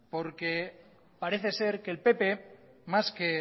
porque parece ser que el pp más que